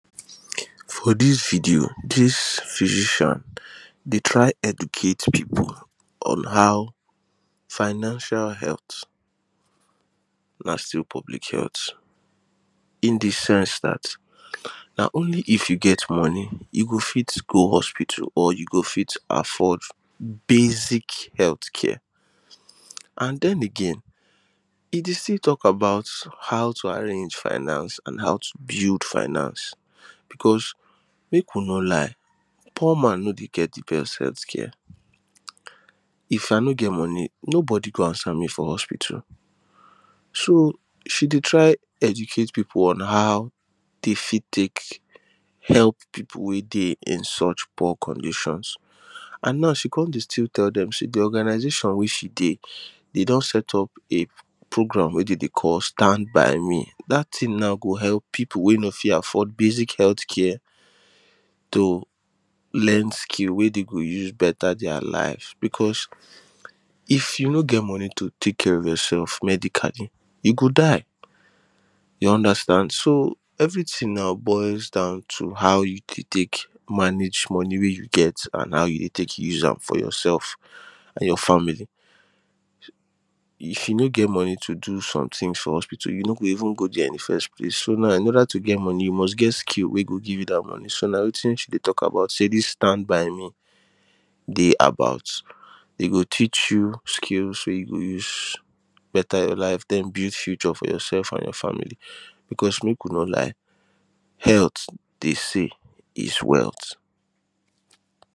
For this video this physician dey try educate people on how financial health na still public health in the sense that na only if you get money you go fit go hospital or you go fit afford basic health care and then again e dey still talk about how to arrange finance and how to build finance because make we no lie poor man no dey get the best health care if I no get money nobody go answer me for hospital so she dey try educate people on how dey fit take help people wey dey in such poor conditions and now she con dey still tell people say the organisation wey she dey dey don set up a programme wey dem dey call standby Me that thing now go help people wey no fit afford basic healthcare to learn skill wey dey go use better their life because If you no get money to take care of yourself medically you go die you understand so everything na boils down to how you go take manage money wey you get and how you go take use am for yourself and your family. If you no get money to do something for hospital you no go even go there in the first place so na in other to get money you must get skill wey go give you that money so na wetin she dey talk about say this stand by me dey about dey go teach you skills wey you go use better your life then build future for yourself and your family because make we no lie health they say is wealth.